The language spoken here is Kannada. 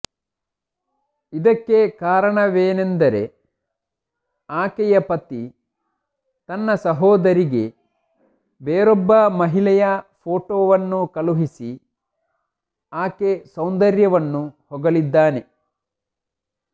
ಇದಕ್ಕೆ ಕಾರಣವೆನೆಂದರೆ ಆಕೆಯ ಪತಿ ತನ್ನ ಸಹೋದರಿಗೆ ಬೇರೊಬ್ಬ ಮಹಿಳೆಯ ಫೋಟೋವನ್ನು ಕಳುಹಿಸಿ ಆಕೆ ಸೌಂದರ್ಯವನ್ನು ಹೊಗಳಿದ್ದಾನೆ